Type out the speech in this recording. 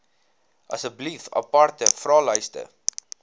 asseblief aparte vraelyste